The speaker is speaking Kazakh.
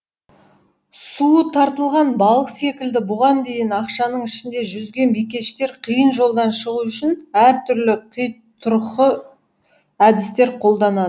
суы тартылған балық секілді бұған дейін ақшаның ішінде жүзген бикештер қиын жолдан шығу үшін әртүрлі қитұрқы әдістер қолданады